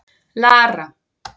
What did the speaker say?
Lara